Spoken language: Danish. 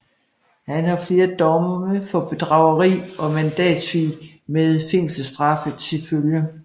Han har flere domme for bedrageri og mandatsvig med fængselsstraffe til følge